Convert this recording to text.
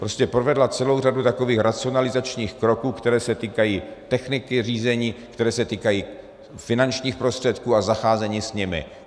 Prostě provedla celou řadu takových racionalizačních kroků, které se týkají techniky řízení, které se týkají finančních prostředků a zacházení s nimi.